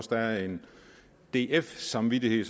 der er en df samvittighed